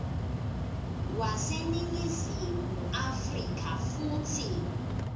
waseningizimu afrika futsi